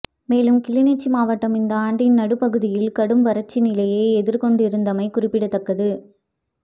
மேலும் கிளிநொச்சி மாவட்டம் இந்த ஆண்டின் நடுப்பகுதியில் கடும் வறட்சி நிலையை எதிர்கொண்டிருந்தமை குறிப்பிடத்தக்கது